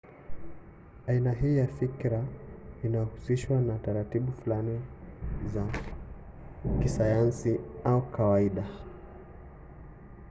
aina hii ya fikira inahusishwa na taratibu fulani za kisayansi au kawaida